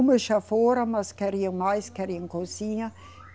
Uma já fora, mas queriam mais, queriam cozinha.